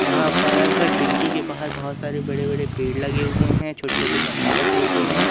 यहां पर ऐसे खिड़की के बाहर बहुत सारे बड़े बड़े पेड़ लगे हुए हैं छोटे छोटे गमले रखे हुए हैं।